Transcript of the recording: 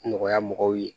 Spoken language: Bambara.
Nɔgɔya mɔgɔw ye